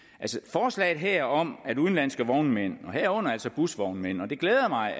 forslaget her om at udenlandske vognmænd herunder busvognmænd og det glæder mig